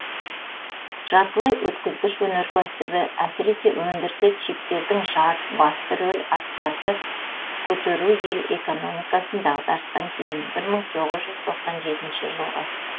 жартылай өткізгіш өнеркәсібі әсіресе өндірісі чиптердің жад басты рөл атқарды көтеру ел экономикасын дағдарыстан кейін бір мың тоғыз жүз тоқсан жетінші жылғы